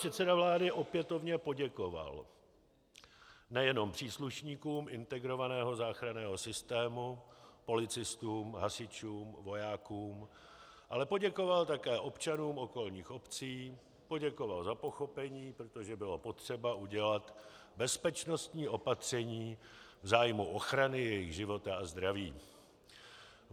Předseda vlády opětovně poděkoval nejenom příslušníkům integrovaného záchranného systému, policistům, hasičům, vojákům, ale poděkoval také občanům okolních obcí, poděkoval za pochopení, protože bylo potřeba udělat bezpečnostní opatření v zájmu ochrany jejich života a zdraví.